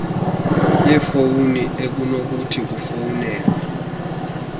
yefowuni ekunokuthi kufowunelwe